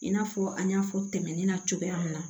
I n'a fɔ an y'a fɔ tɛmɛnen na cogoya min na